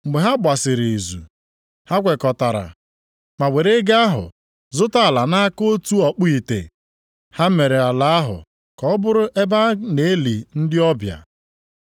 Mgbe ha gbasịrị izu, ha kwekọtara ma were ego ahụ zụta ala nʼaka otu ọkpụ ite. Ha mere ala ahụ ka ọ bụrụ ebe a na-eli ndị ọbịa.